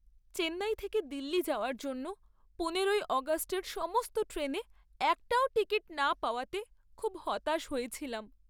চেন্নাই থেকে দিল্লি যাওয়ার জন্য পনেরোই অগাস্টের সমস্ত ট্রেনে একটাও টিকিট না পাওয়াতে খুব হতাশ হয়েছিলাম।